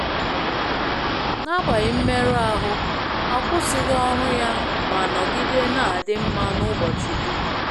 N'agbanyeghị mmerụ ahụ, ọ kwụsịghị ọrụ ya ma nọgide na adị mma n'ụbọchị dum.